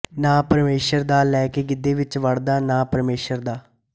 ਨਾਂ ਪਰਮੇਛਰ ਦਾ ਲੈਕੇ ਗਿੱਧੇ ਵਿੱਚ ਵੜਦਾ ਨਾ ਪਰਮੇਛਰ ਦਾ